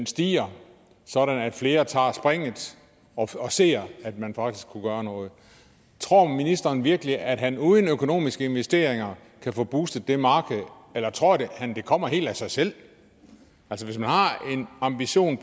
stiger sådan at flere tager springet og ser at man faktisk kunne gøre noget tror ministeren virkelig at han uden økonomiske investeringer kan få boostet det marked eller tror han det kommer helt af sig selv altså hvis man har en ambition